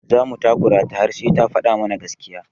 Za mu takura ta har sai ta faɗa mana gaskiya.